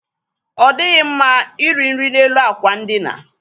Ọ dịghị mma iri nri n'elu àkwà ndina.